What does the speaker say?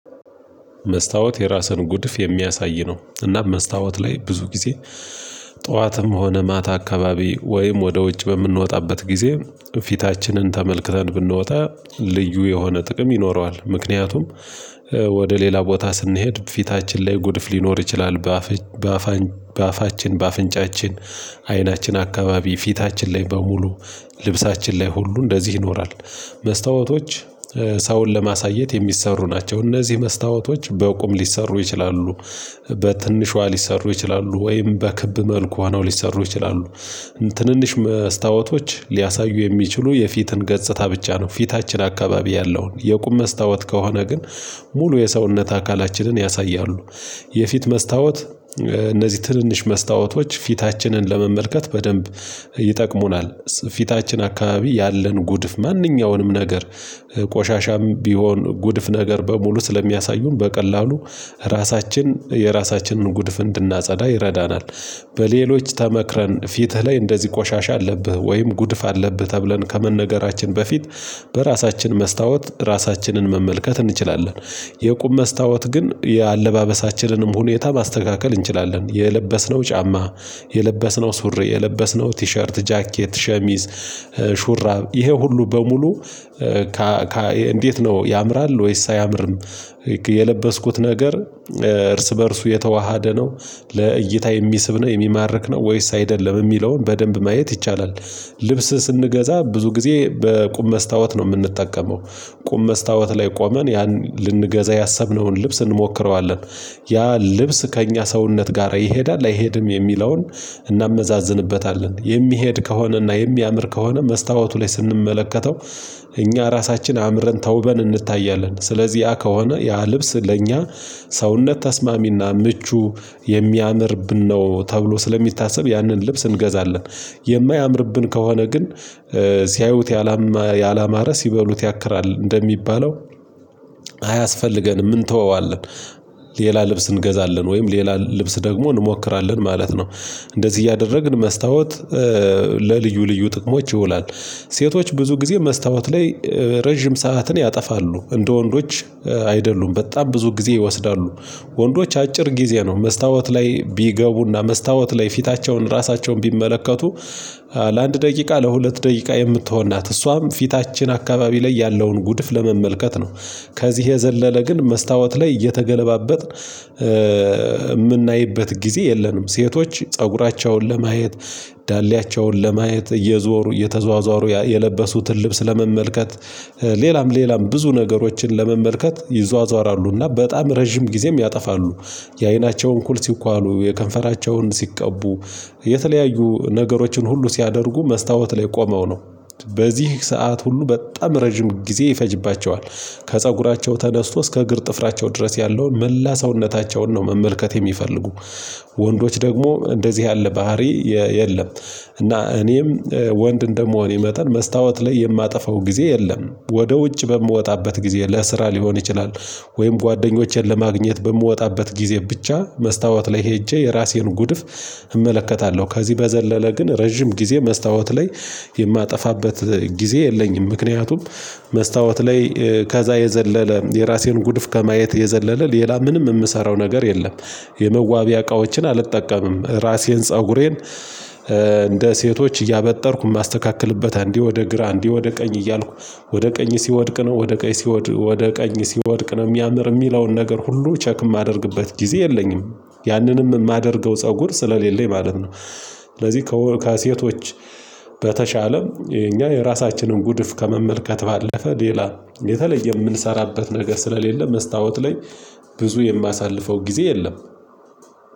መስታወት የራስን ጉድፍ የሚያሳይ ነው እና መስታወት ላይ ብዙ ጊዜ ጠዋትም ሆነ ማታ አካባቢ ወይም ወደ ውጭ በምንወጣበት ጊዜ ፊታችንን ተመልክተን ብንወጣ ልዩ የሆነ ጥቅም ይኖረዋል። ምክንያቱም ወደ ሌላ ቦታ ስንሄድ ፊታችን ላይ ጉድፍ ሊኖር ይችላል። በአፍ በአፋችን በአፍንጫችን አይናችን አካባቢ ፊታችን ላይ በሙሉ ልብሳችን ላይ ሁሉ እንደዚህ ይኖራል። መስታወቶች ሰውን ለማሳየት የሚሰሩ ናቸው። እነዚህ መስታወቶች በቁም ሊሰሩ ይችላሉ። በትንሿ ሊሰሩ ይችላሉ ወይም በክብ መልኳ ነው ሊሰሩ ይችላሉ። ትንንሽ መስታወቶች ሊያሳዩ የሚችሉ የፊትን ገጽታ ብቻ ነው ፊታችን አካባቢ ያለውን የቁም መስታወት ከሆነ ግን ሙሉ የሰውነት አካላችንን ያሳያሉ። የፊት መስታወት እነዚህ ትንንሽ መስታወቶች ፊታችንን ለመመልከት በደንብ ይጠቅሙናል። ፊታችን አካባቢ ያለን ጉድፍ ማንኛውንም ነገር ቆሻሻም ቢሆን ጉድፍ ነገር በሙሉ ስለሚያሳዩን በቀላሉ ራሳችን የራሳችንን ጉድፍ እንድናጸዳ ይረዳናል። በሌሎች ተመክረን ፊትህ ላይ እንደዚህ ቆሻሻ አለብህ ወይም ጉድፍ አለብህ ተብለን ከመነገራችን በፊት በራሳችን መስታወት ራሳችንን መመልከት እንችላለን። የቁም መስታወት ግን የአለባበሳችንንም ሁኔታ ማስተካከል እንችላለን። የለበስነው ጫማ የለበስነው ሱሪ የለበስነው ቲሸርት ጃኬት ሸሚዝ ሹራብ ይሄ ሁሉ በሙሉ? እንዴት ነው ያምራል ወይስ አያምርም? የለበስኩት ነገር እርስ በእርሱ የተዋሃደ ነው። ለእይታ የሚስብ ነው የሚማርክ ነው ወይስ አይደለም የሚለውን በደንብ ማየት ይቻላል። ልብስ ስንገዛ ብዙ ጊዜ በቁም መስታወት ነው የምንጠቀመው። ቁም መስታወት ላይ ቆመን ያን ልንገዛ ያሰብነውን ልብስ እንሞክረዋለን። ያ ልብስ ከእኛ ሰውነት ጋር ይሄዳል አይሄድም የሚለውን እናመዛዝንበታለን የሚሄድ ከሆነና የሚያምር ከሆነ መስታወቱ ላይ ስንመለከተው። እኛ ራሳችን አምረን ተውበን እንታያለን ስለዚህ ያ ከሆነ ያ ልብስ ለእኛ ሰውነት ተስማሚና ምቹ የሚያምርብን ነው ተብሎ ስለሚታሰብ ያንን ልብስ እንገዛለን። የማያምርብን ከሆነ ግን ሲያዩት ያላማረ ሲበሉት ያክራል እንደሚባለው አያስፈልገንም እንተወዋለን። ሌላ ልብስ እንገዛለን ወይም ሌላ ልብስ ደግሞ እንሞክራለን ማለት ነው። እንደዚህ እያደረግን መስታወት ለልዩ ልዩ ጥቅሞች ይውላል። ሴቶች ብዙ ጊዜ መስታወት ላይ ረጅም ሰዓትን ያጠፋሉ እንደ ወንዶች አይደሉም በጣም ብዙ ጊዜ ይወስዳሉ። ወንዶች አጭር ጊዜ ነው መስታወት ላይ ቢገቡና መስታወት ላይ ፊታቸውን ራሳቸውን ቢመለከቱ። ለአንድ ደቂቃ ለሁለት ደቂቃ የምትሆን ናት እሷም ፊታችን አካባቢ ላይ ያለውን ጉድፍ ለመመልከት ነው። ከዚህ የዘለለ ግን መስታወት ላይ እየተገለባበጥን የምናይበት ጊዜ የለንም። ሴቶች ፀጉራቸውን ለማየት ዳሌያቸውን ለማየት እየዞሩ እየተዟዟሩ የለበሱትን ልብስ ለመመልከት ሌላም ሌላም ብዙ ነገሮችን ለመመልከት ይዟዟራሉና በጣም ረጅም ጊዜም ያጠፋሉ። የአይናቸውን ኩል ሲኳሉ የከንፈራቸውን ሲቀቡ የተለያዩ ነገሮችን ሁሉ ሲያደርጉ መስታወት ላይ ቆመው ነው። በዚህ ሰዓት ሁሉ በጣም ረጅም ጊዜ ይፈጅባቸዋል። ከፀጉራቸው ተነስቶ እስከ እግር ጥፍራቸው ድረስ ያለውን መላ ሰውነታቸውን ነው መመልከት የሚፈልጉ። ወንዶች ደግሞ እንደዚህ ያለ ባህሪ የለም። እና እኔም ወንድ እንደ መሆኔ መጠን መስታወት ላይ የማጠፋው ጊዜ የለም። ወደ ውጭ በምወጣበት ጊዜ ለስራ ሊሆን ይችላል ወይም ጓደኞቼን ለማግኘት በምወጣበት ጊዜ ብቻ መስታወት ላይ ሄጄ የራሴን ጉድፍ። እመለከታለሁ ከዚህ በዘለለ ግን ረጅም ጊዜ መስታወት ላይ የማጠፋበት ጊዜ የለኝም። ምክንያቱም መስታወት ላይ ከዛ የዘለለ የራሴን ጉድፍ ከማየት የዘለለ ሌላ ምንም የምሰራው ነገር የለም። የመዋቢያ እቃዎችን አልጠቀምም። ራሴን ፀጉሬን እንደ ሴቶች እያበጠርኩ የማስተካክልበት አንዴ ወደ ግራ አንዴ ወደ ቀኝ እያልኩ ወደ ቀኝ ሲወድቅ ነው ወደ ቀኝ ሲወድቅ ነው የሚያምር የሚለውን ነገር ሁሉ ቸክ የማደርግበት ጊዜ የለኝም። ያንንም የማደርገው ፀጉር ስለሌለኝ ማለት ነው። ስለዚህ ከሴቶች በተሻለ እኛ የራሳችንን ጉድፍ ከመመልከት ባለፈ ሌላ የተለየ የምንሰራበት ነገር ስለሌለ መስታወት ላይ ብዙ የማሳልፈው ጊዜ የለም።